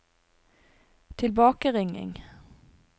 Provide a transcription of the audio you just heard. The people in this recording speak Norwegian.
tilbakeringing